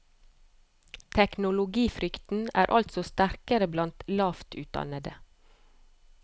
Teknologifrykten er altså sterkere blant lavt utdannede.